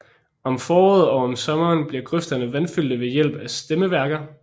Om foråret og om sommeren bliver grøfterne vandfyldte ved hjælp af stemmeværker